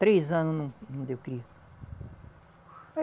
Três anos não, não deu cria.